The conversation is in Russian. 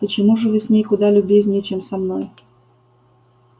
почему же вы с ней куда любезнее чем со мной